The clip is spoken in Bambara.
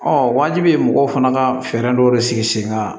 wajibi mɔgɔw fana ka fɛɛrɛ dɔw de sigi sen kan